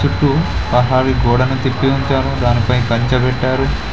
చుట్టూ పహాను గోడను కట్టి ఉంచారు దాని పై కంచె కట్టారు.